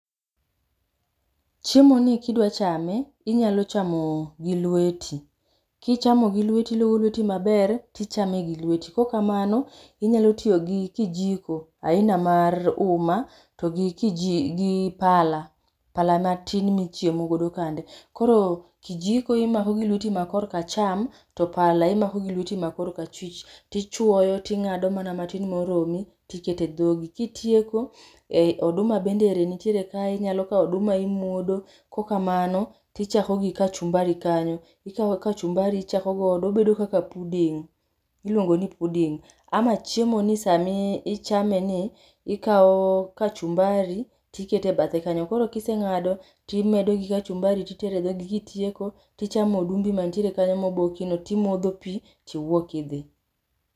Chiemoni kidwa chame, inyalo chamo gi lweti. Kichamo gi lweti to ilogo lweti maber to ichame gi lweti kaok kamano, inyalo tiyo gi kijiko aina mar uma togi kiji to gi pala, pala matin michiemo godo kande. Koro kijiko imako gi lweti makorka cham to pala imako gi lweti makorkachich, to ichuoyo to ing'ado mana matin moromi to iketo edhogi ka itieko, oduma bende ero nitiere kae inyalo kawo oduma imuodo, kaok kamano to ichako gi kachumbari kanyo. Ikawo kachumbari ichako godo obedo kaka pudding iluongo ni pudding ama chiemono sama ichameni ikawo kachumbari to iketo e bathe kanyo koro ka iseng'ado to imedo gi kachumbari to iketo e dhogi. Kitieko to ichamo odumbi man kanyo mobokino, to imodho pi to iwuok idhi.